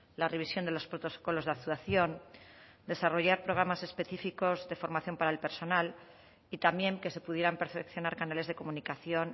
la revisión de los protocolos de actuación desarrollar programas específicos de formación para el personal y también que se pudieran perfeccionar canales de comunicación